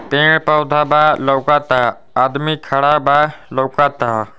पेड पौधा बा लौकता। आदमी खड़ा बा लौकता।